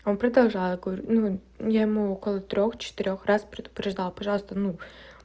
он продолжаю говорю ну я ему около трёх-четырёх раз предупреждала пожалуйста ну